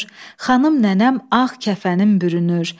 Xanım nənəm ağ kəfənim bürünür.